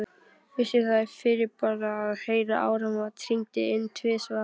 Vissi það fyrirboða, að heyra áramót hringd inn tvisvar.